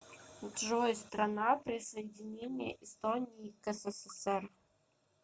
джой страна присоединение эстонии к ссср